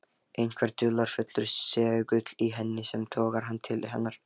Einhver dularfullur segull í henni sem togar hann til hennar.